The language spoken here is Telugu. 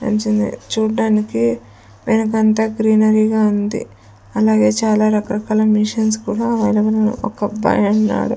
చూడ్డానికి వెనకంతా గ్రీనరీ గా ఉంది అలాగే చాలా రకారకాల మిషన్స్ కూడా అవైలబుల్ లో ఒకబ్బాయున్నాడు.